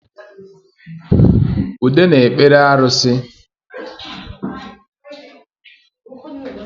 Ude na-ekpere arusi